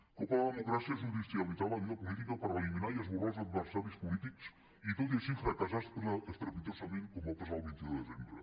un cop a la democràcia és judicialitzar la vida política per eliminar i esborrar els adversaris polítics i tot així fracassar estrepitosament com va passar el vint un de desembre